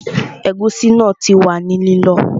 Ẹ̀gúsí náà ti wà ní lílọ